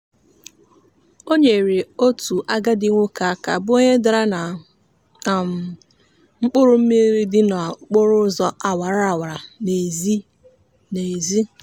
o nyeere otu agadi nwoke aka bụ onye dara na um mkpụrụmmiri dị n'okporoụzọ awara awa n'ezi. n'ezi.